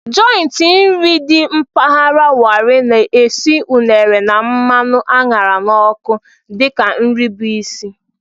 Jọịntị nri dị mpaghara Warri na-esi unere na mmanụ a ṅara n'ọkụ dị ka nri bụ isi.